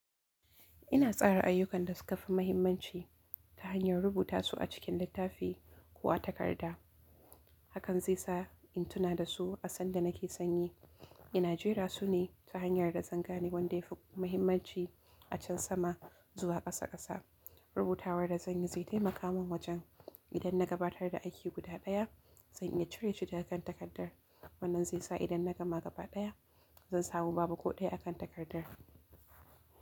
Ina tsara ayyukan da suka fi muhimmanci ta hanyar rubuta su a cikin littafi ko a takarda. Hakan zaisa in tuna dasu a sanda nake san yi ina jera sune ta hanyar da zanga ne wanda ya fi muhimmanci acan sama zuwa ƙasa ƙasa. Rubutawa da xanyi. Wannan zai sa idan na gama gaba ɗaya, zan samu babu ko ɗaya akan takardar.